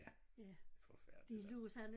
Ja forfærdeligt altså